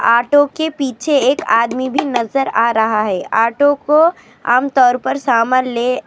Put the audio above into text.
Auto پیچھے ایک ادمی نظر ا رہا ہے اور اٹو کو عام طور پر سامان.